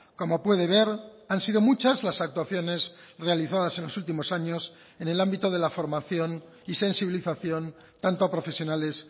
como puede ver han sido muchas las actuaciones realizadas en los últimos años en el ámbito de la formación y sensibilización tanto a profesionales